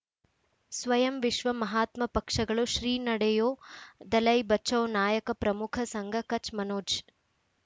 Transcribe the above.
ಸ್ವಯಂ ವಿಶ್ವ ಮಹಾತ್ಮ ಪಕ್ಷಗಳು ಶ್ರೀ ನಡೆಯೂ ದಲೈ ಬಚೌ ನಾಯಕ ಪ್ರಮುಖ ಸಂಘ ಕಚ್ ಮನೋಜ್